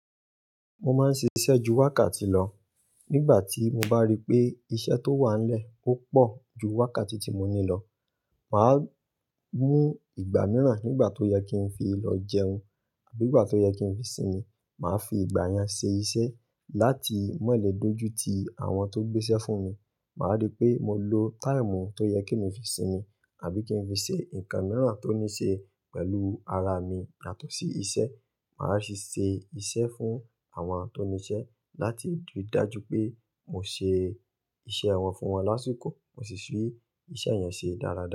Mo máa ń ṣiṣẹ́ ju wákàtí lọ. Nígbà tí mo bá rí pé iṣẹ́ tó wà nílẹ̀ ó pọ̀ ju wákàtí tí mo ní lọ, mà á mú ìgbà mìíràn nígbà tó yẹ kí n fi lọ jẹun àbí nígbà tó yẹ kí n fi sinmi. Mà á fi ìgbà yẹn ṣe iṣẹ́ láti mọ̀lẹ́ dójú ti àwọn tó ń gbé iṣẹ́ fún mi. Mà á rí pé mo lo táìmù tó yẹ kí n fi sinmi àbí kí n fi ṣe nǹkan mìíràn tó ní ṣe pẹ̀lú ara mi yàtọ̀ sí iṣẹ́. Mà á sì ṣe iṣẹ́ fún àwọn tó níṣẹ́ láti rí i dájú pé mo ṣe iṣẹ́ wọn fún wọn lásìkò mo sì fi iṣẹ́ yẹn ṣe dáradára.